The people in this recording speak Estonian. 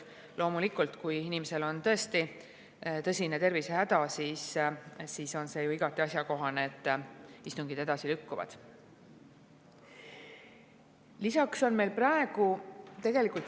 Aga loomulikult, kui inimesel on tõesti tõsine tervisehäda, siis on igati asjakohane, et istungid edasi lükkuvad.